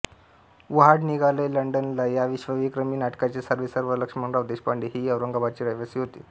वहाड निघालंय लंडनला या विश्वविक्रमी नाटकाचे सर्वेसर्वा लक्ष्मणराव देशपांडे हेही औरंगाबादचे रहिवासी होते